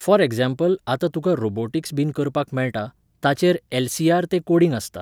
For example आतां तुका robotics बीन करपाक मेळटा, ताचेर एल.सी.आर. तें कोडिंग आसता.